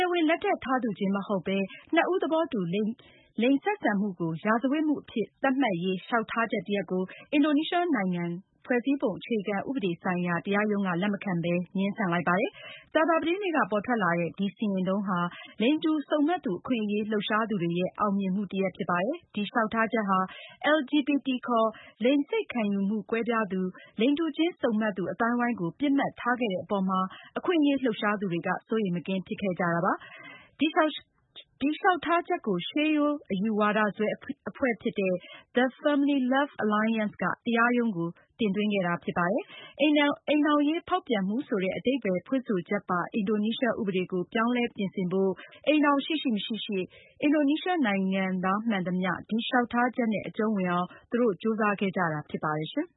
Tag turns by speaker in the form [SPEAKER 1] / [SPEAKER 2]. [SPEAKER 1] ဝင်လက်ထပ်ထားသူနဲ့ မဟုတ်ပဲ အခြားသူနဲ့ သဘောတူ လိင်ဆက်ဆံမှုကို ရာဇဝတ်မှုအဖြစ် သတ်မှတ်ရေး လျှောက်ထားချက်တရပ်ကို အင်ဒိုနီးရှားနိုင်ငံက ဖွဲ့စည်းပုံအခြေခံဥပဒေဆိုင်ရာ တရားရုံးက လက်မခံပဲ ငြင်းဆန်လိုက်ပါတယ်။ ကြာသာပတေးနေ့က ပေါ်ထွက်လာတဲ့ ဒီစီရင်ထုံးဟာ လိင်တူစုံမက်သူအခွင့်အရေး လှုပ်ရှားသူတွေရဲ့ အောင်မြင်မှုတရပ်ဖြစ်ပါတယ်။ ဒီလျောက်ထားချက်ဟာ LGBT ခေါ် လိင်စိတ်ခံယူမှု ကွဲပြားသူ၊ လိင်တူချင်း စုံမက်သူ အသိုင်းအဝိုင်းကို ပစ်မှတ်ထားခဲ့တဲ့ အပေါ်မှာ အခွင့်အရေးလှုပ်ရှားသူတွေက စိုးရိမ်မကင်းဖြစ်ခဲ့ကြတာပါ။ ဒီလျောက်ထားချက်ကို ရှေးရိုးအယူဝါဒစွဲအဖွဲ့ဖြစ်တဲ့ the Family Love Alliance က တရားရုံးကို တင်ခဲ့တာဖြစ်ပါတယ်။ အိမ်ထောင်ရေးဖောက်ပြန်မှုဆိုတဲ့ အဓိပ္ပါယ်ဖွင့်ဆိုချက်ပါ အင်ဒိုနီးရှားဥပဒေကို ပြောင်းလဲပြင်ဆင်ဖို့ အိမ်ထောင်ရှိရှိ၊ မရှိရှိ အင်ဒိုနီးရှားနိုင်ငံသားမှန်သမျှ ဒီလျောက်ထားချက်နဲ့ အကြုံးဝင်အောင် သူတို့ ကြိုးစားခဲ့ကြတာဖြစ်ပါတယ်။ အင်